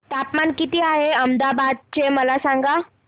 तापमान किती आहे अहमदाबाद चे मला सांगा